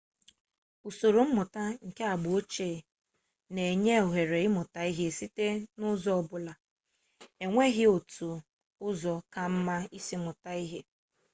usoro mmụta nke agba ochie na-enye ohere ịmụta ihe site n'ụzọ ọbụla e nweghi otu ụzọ ka mma isi mụta ihe